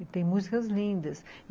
e tem músicas lindas.